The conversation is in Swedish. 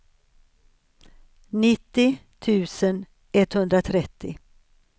nittio tusen etthundratrettio